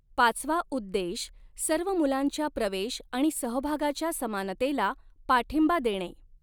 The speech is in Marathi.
पाचवा उद्देश सर्व मुलांच्या प्रवेश आणि सहभागाच्या समानतेला पाठिंबा देणे.